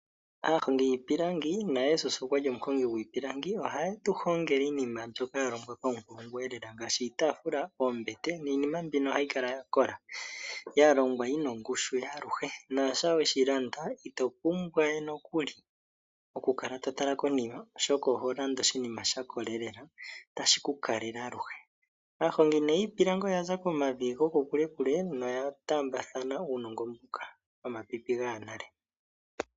Aahongi yiipilangi naJesus okwali omuhongi gwiipilangi ohaye tuhongele iinima yahongwa paunkulungu lela. Iinima mbino ohayi kala ya kola